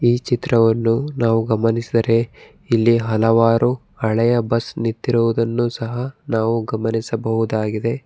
ಈ ಚಿತ್ರವನ್ನು ನಾವು ಗಮನಿಸದರೆ ಇಲ್ಲಿ ಹಲವಾರು ಹಳೆಯ ಬಸ್ ನಿಂತಿರುವುದನ್ನು ಸಹ ನಾವು ಗಮನಿಸಬಹುದಾಗಿದೆ.